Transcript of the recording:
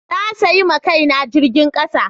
Na sayi ma Kai na jirgin kasa.